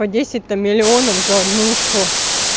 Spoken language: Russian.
по десять там миллионов за однушку